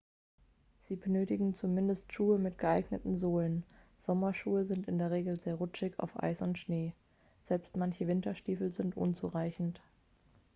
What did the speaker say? sie benötigen zumindest schuhe mit geeigneten sohlen sommerschuhe sind in der regel sehr rutschig auf eis und schnee selbst manche winterstiefel sind unzureichend